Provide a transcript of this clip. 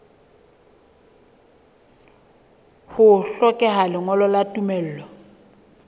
ho hlokeha lengolo la tumello